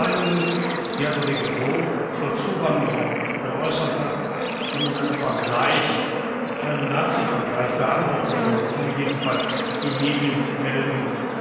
Meinungen, die Herr Kollege Brok zur Zuwanderung geäußert hat, sind mit einem Nazivergleich beantwortet worden, so jedenfalls die Medienmeldungen.